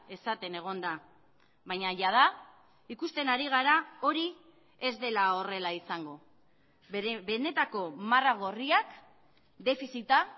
esaten egon da baina jada ikusten ari gara hori ez dela horrela izango bere benetako marra gorriak defizita